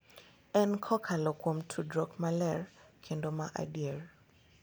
En kokalo kuom tudruok maler kendo ma adier.